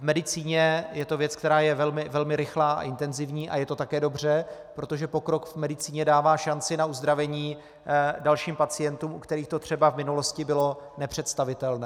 V medicíně je to věc, která je velmi rychlá a intenzivní, a je to také dobře, protože pokrok v medicíně dává šanci na uzdravení dalším pacientům, u kterých to třeba v minulosti bylo nepředstavitelné.